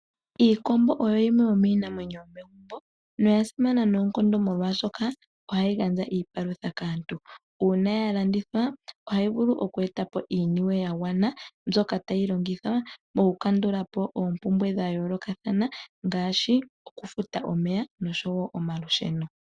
Iikombo oyo yimwe yominamwenyo yomegumbo noyasimana noonkondo molwashoka ohayi gandja iipalutha kaantu. Uuna ya landithwa ohayi vulu okueta po iinuwe ya gwana mbyoka tayi longithwa moku kandulapo oompumbwe dha yoolokathana ngaashi okufuta omeya nomalusheno.